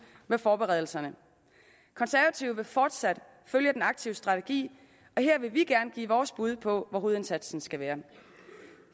med forberedelserne konservative vil fortsat følge den aktive strategi og her vil vi gerne give vores bud på hvor hovedindsatsen skal være